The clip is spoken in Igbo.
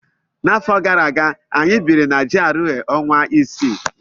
N'afọ gara aga, anyị biri na GRA ọnwa isii.